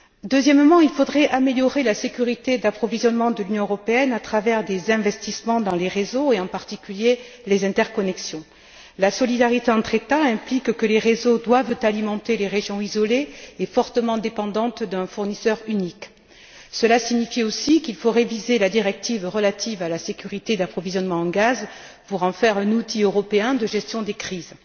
Deuxièmement, il faudrait améliorer la sécurité d'approvisionnement de l'Union européenne à travers des investissements dans les réseaux et, en particulier, les interconnexions. La solidarité entre États implique que les réseaux doivent alimenter les régions isolées et fortement dépendantes d'un fournisseur unique. Cela signifie aussi qu'il faut réviser la directive relative à la sécurité d'approvisionnement en gaz pour en faire un outil européen de gestion des crises.